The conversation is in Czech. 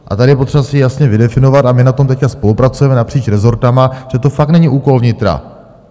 A tady je potřeba si jasně vydefinovat, a my na tom teď spolupracujeme napříč rezorty, že to fakt není úkol vnitra.